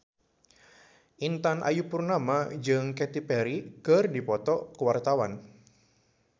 Intan Ayu Purnama jeung Katy Perry keur dipoto ku wartawan